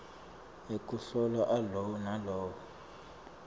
ekuhlola alowo nalowo